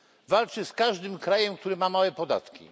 Walczy z każdym krajem, który ma małe podatki.